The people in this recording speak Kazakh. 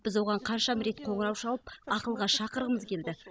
біз оған қаншама рет қоңырау шалып ақылға шақырғымыз келді